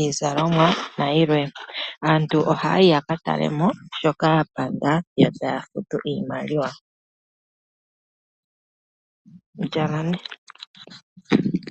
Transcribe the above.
iizalomwa nayilwe. Aantu ohaya yi yakatalemo shoka yapanda yo taya futu iimaliwa.